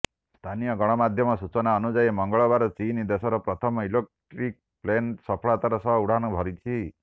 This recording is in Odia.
ସ୍ଥାନୀୟ ଗଣମାଧ୍ୟମ ସୂଚନା ଅନୁଯାୟୀ ମଙ୍ଗଳବାର ଚୀନ୍ ଦେଶର ପ୍ରଥମ ଇଲେକ୍ଟ୍ରିକ୍ ପ୍ଲେନ୍ ସଫଳତାର ସହ ଉଡ଼ାଣ ଭରିଛି